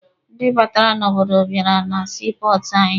Ndị batara n'obodo bịara na sii pọọtụ anyị.